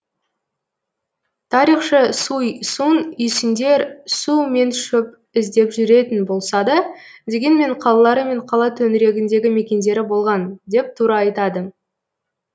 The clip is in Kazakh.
тарихшы суй сун үйсіндер су мен шөп іздеп жүретін болса да дегенмен қалалары мен қала төңірегіндегі мекендері болған деп тура айтады